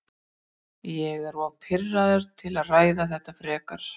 Ég er of pirraður til að ræða þetta frekar.